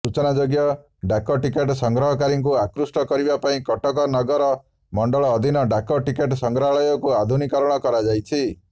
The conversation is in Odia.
ସୂଚନାଯୋଗ୍ୟ ଡାକଟିକଟ ସଂଗ୍ରହକାରୀଙ୍କୁ ଆକୃଷ୍ଟ କରିବା ପାଇଁ କଟକ ନଗର ମଣ୍ଡଳ ଅଧୀନ ଡାକଟିକଟ ସଂଗ୍ରହାଳୟକୁ ଆଧୁନୀକିକରଣ କରାଯାଇଛି